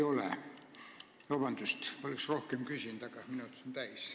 Palun vabandust, oleksin rohkem küsinud, aga minutid said täis.